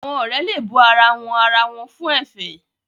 Àwọn òré le bù àrà wón àrà wón fún efè